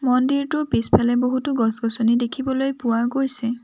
মন্দিৰটোৰ পিছফালে বহুতো গছ গছনি দেখিবলৈ পোৱা গৈছে।